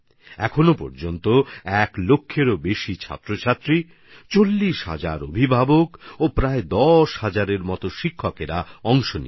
এখন পর্যন্ত এতে এক লক্ষের বেশি শিক্ষার্থী প্রায় ৪০ হাজার মাবাবা আর প্রায় ১০ হাজার শিক্ষকশিক্ষিকা অংশগ্রহণ করেছেন